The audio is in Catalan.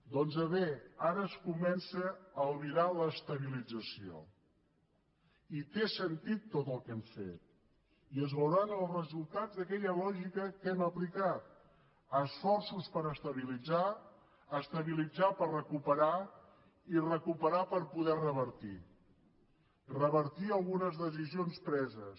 doncs bé ara es comença a albirar l’estabilització i té sentit tot el que hem fet i es veuran els resultats d’aquella lògica que hem aplicat esforços per estabilitzar estabilitzar per recuperar i recuperar per poder revertir revertir algunes decisions preses